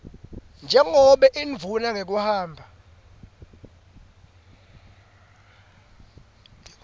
njengobe indvuna ngekuhamba